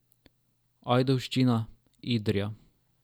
Ajdovščina, Idrija.